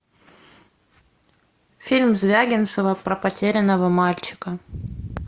фильм звягинцева про потерянного мальчика